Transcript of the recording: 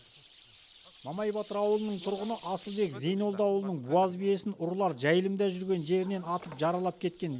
мамай батыр ауылының тұрғыны асылбек зейнолдаұлының буаз биесін ұрылар жайылымда жүрген жерінен атып жаралап кеткен